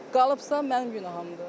Qalıbsa, mənim günahımdır.